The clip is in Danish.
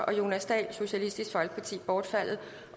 og jonas dahl bortfaldet